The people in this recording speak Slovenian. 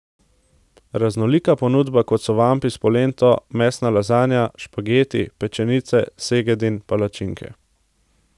Raznolika ponudba, kot so vampi s polento, mesna lazanja, špageti, pečenice, segedin, palačinke.